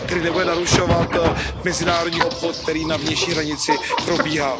Tedy nebude narušovat mezinárodní obchod, který na vnější hranici probíhá.